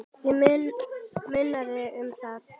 Það munar um það.